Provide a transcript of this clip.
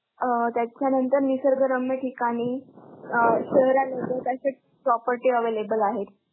अं त्याच्यानंतर निसर्गरम्य ठिकाणी, अं शहरालगत असे property available आहेत.